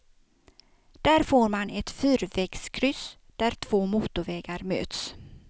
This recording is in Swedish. Där får man ett fyrvägskryss där två motorvägar möts.